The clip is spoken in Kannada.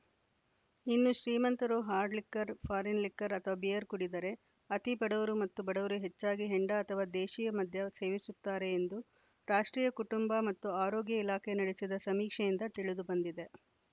ಇನ್ನು ಶ್ರೀಮಂತರು ಹಾರ್ಡ್‌ ಲಿಕ್ಕರ್‌ ಫಾರಿನ್‌ ಲಿಕ್ಕರ್‌ ಅಥವಾ ಬಿಯರ್‌ ಕುಡಿದರೆ ಅತಿ ಬಡವರು ಮತ್ತು ಬಡವರು ಹೆಚ್ಚಾಗಿ ಹೆಂಡ ಅಥವಾ ದೇಶೀಯ ಮದ್ಯ ಸೇವಿಸುತ್ತಾರೆ ಎಂದು ರಾಷ್ಟ್ರೀಯ ಕುಟುಂಬ ಮತ್ತು ಆರೋಗ್ಯ ಇಲಾಖೆ ನಡೆಸಿದ ಸಮೀಕ್ಷೆಯಿಂದ ತಿಳಿದುಬಂದಿದೆ